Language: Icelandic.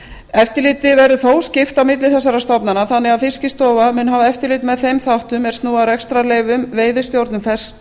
eftirliti verður þó skipt milli þessara stofnana þannig að fiskistofa mun hafa eftirlit með þeim þáttum er snúa að rekstrarleyfum veiðistjórnun